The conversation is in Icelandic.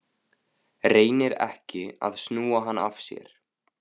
Reynir ekki að snúa hann af sér.